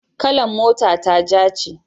kalan mota ta ja ne